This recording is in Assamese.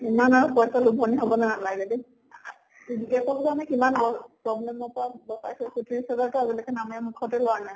ইমান আৰু পইছাৰ হʼব নালাগে দে problem নামে মুখতে লোৱা নাই।